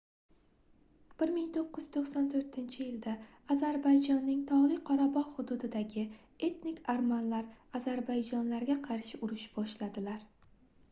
1994-yilda ozarbayjonning togʻli qorabogʻ hududidagi etnik armanlar ozarbayjonlarga qarshi urush boshladilar